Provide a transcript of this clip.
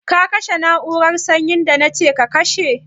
Ka kashe na'urar sanyi da na ce ka kashe?